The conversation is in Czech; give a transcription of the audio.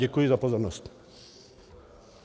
Děkuji za pozornost.